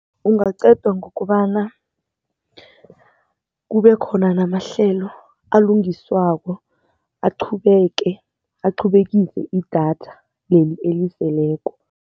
Ungaqedwa ngokobana kube khona namahlelo alungiswako aqhubeke, aqhubekise idatha leli eliseleko.